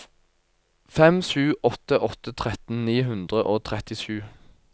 fem sju åtte åtte tretten ni hundre og trettisju